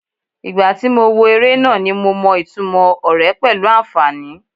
Ìgbà tí mo wo eré náà ni mo mọ ìtumò ọ̀rẹ́ pẹ̀lú àǹfàní.